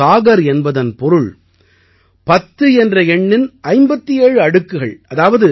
ஒரு சாகர் என்பதன் பொருள் பத்து என்ற எண்ணின் 57 அடுக்குகள்